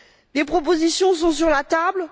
Les propositions sont sur la table.